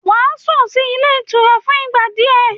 Wàá sùn sí ilé ìtura fún ìgbà díẹ̀